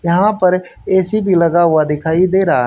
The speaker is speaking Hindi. यहां पर एसी भी लगा हुआ दिखाई दे रहा--